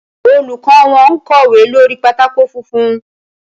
Olùkọ́ wọn kọ̀wé lórí pátákó funfun.